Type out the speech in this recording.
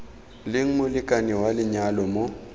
leng molekane wa lenyalo mo